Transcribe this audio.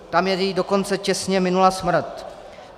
Tam jej dokonce těsně minula smrt.